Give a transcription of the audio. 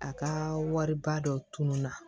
A ka wariba dɔ tununa